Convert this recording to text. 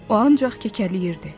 O ancaq kəkələyirdi.